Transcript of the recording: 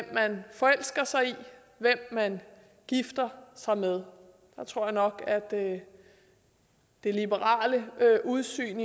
man forelsker sig i hvem man gifter sig med jeg tror nok at det liberale udsyn